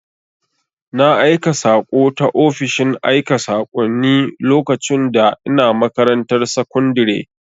Na aika saƙo ta ofishin aika sakonni lokacin da ina makarantar sakundire